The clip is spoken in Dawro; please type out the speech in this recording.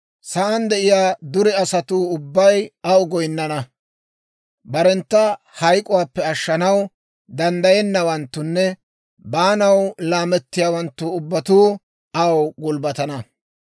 Sa'aan de'iyaa dure asatuu ubbay aw goyinnana. Barentta hayk'k'uwaappe ashshanaw danddayennawanttunne baanaw laamettiyaawanttu ubbatuu aw gulbbatana.